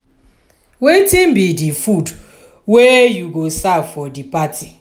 wetin be di food wey you go serve for di party?